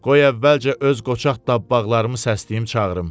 Qoy əvvəlcə öz qoçaq tabbağlarımı səsləyim çağırım.